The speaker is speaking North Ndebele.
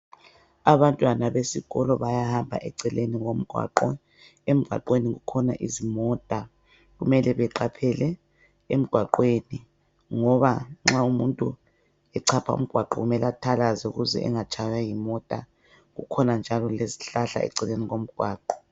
Abantwana besikolo bayahamba eceleni komgwaqo, emgwaqweni kukhona izimota kumele beqaphele emgwaqweni ngoba nxa umuntu echapha ungwaqo kumele athalaze ukuze engatshaywa yimota, kukhona njalo lezihlahla eceleni komgwaqo.